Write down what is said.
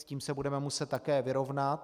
S tím se budeme muset také vyrovnat.